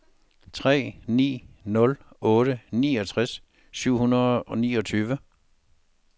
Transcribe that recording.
tre ni nul otte niogtres syv hundrede og niogtyve